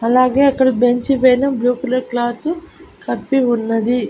అలాగే అక్కడ బెంచీ పైన బ్లూ కలర్ క్లాతు కప్పి ఉన్నది.